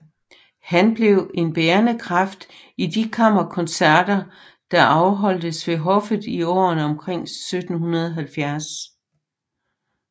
Han blev en bærende kraft i de kammerkoncerter der afholdtes ved hoffet i årene omkring 1770